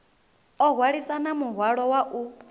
o hwalisana muhwalo wa u